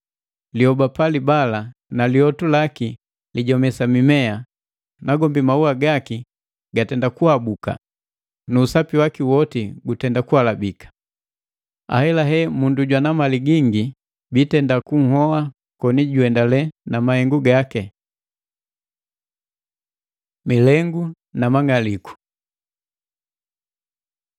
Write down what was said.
Liyoba palibala na lyotu laki lijomesa mimea, nagombi maua gaki gatenda kuhabuka, nu usapi waki woti gutenda kuhalabika. Ahelahela mundu jwana mali gingi bitenda kunhoa koni juendale na mahengu gaki.” Milengu na mang'aliku